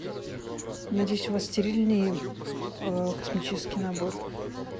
надеюсь у вас стерильный косметический набор